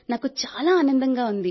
నాకు చాలా ఆనందంగా ఉంది